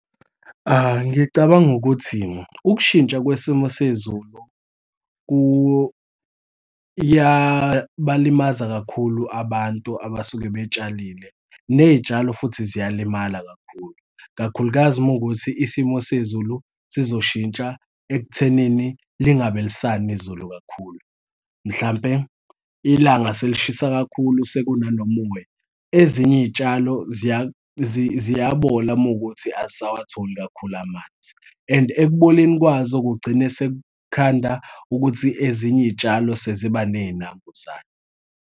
Ngicabanga ukuthi ukushintsha kwesimo sezulu kuyabalimaza kakhulu abantu abasuke betshalile, ney'tshalo futhi ziyalimala kakhulu. Kakhulukazi uma kuwukuthi isimo sezulu sizoshintsha ekuthenini lingabe lisana izulu kakhulu. Mhlampe ilanga selishisa kakhulu, sekunano moya, ezinye iy'tshalo ziyabola uma kuwukuthi azisawatholi kakhulu amanzi, and ekuboneni kwazo kugcine sekukhanda ukuthi ezinye iy'tshalo seziba ney'nambuzane.